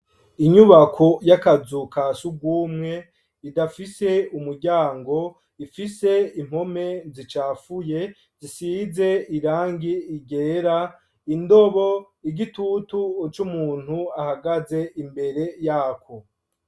Inyubako y'akazu ka surwumwe idafise umuryango, ifise impome zicafuye zisize irangi ryera, indobo, igitutu c'umuntu ahagaze imbere yako.